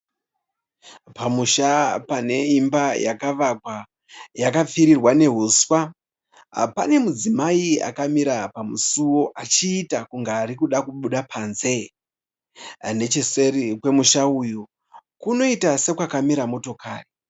Pamusha pane imba yakavakwa, yakapfirirwa nehuswa. Pane mudzimai akamira pamusuwo achiita kunge arikuda kubuda panze. Necheseri kwemusha uyu kunoita sekwakamira motokari